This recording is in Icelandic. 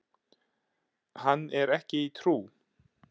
Hann er ekki í trú.